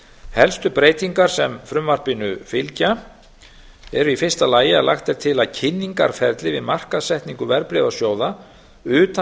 helstu breytingar sem frumvarpinu fylgja eru í fyrsta lagi að lagt er til að kynningarferli við markaðssetningu verðbréfasjóða utan